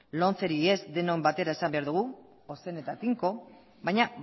lomceri ez denok batera esan behar dugu ozen eta tinko baina